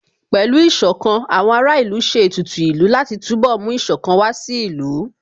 Pẹ̀lú Ìṣọ̀kan, àwọn ará ìlú ṣe ètùtù ìlú láti túnbọ̀ mú Ìṣọ̀kan wá sí ìlú